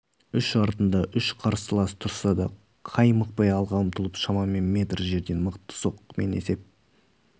үш артында үш қарсылас тұрса да қаймықпай алға ұмтылып шамамен метр жерден мықты соққымен есеп